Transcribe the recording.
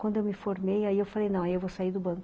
Quando eu me formei, aí eu falei, não, aí eu vou sair do banco.